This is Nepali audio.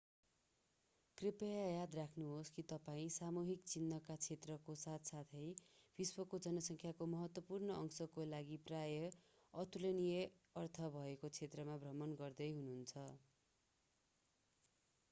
कृपया याद राख्नुहोस् कि तपाईं सामूहिक चिहानको क्षेत्रको साथसाथै विश्वको जनसंख्याको महत्त्वपूर्ण अंशको लागि प्रायः अतुलनीय अर्थ भएको क्षेत्रको भ्रमण गर्दै हुनुहुन्छ